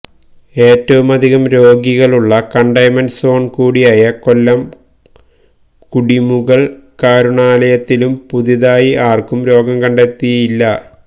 ഏറ്റവുമധികം രോഗികളുള്ള കണ്ടെയ്ൻമെന്റ് സോൺകൂടിയായ കൊല്ലംകുടിമുകൾ കരുണാലയത്തിലും പുതുതായി ആർക്കും രോഗംകണ്ടെത്തിയില്ല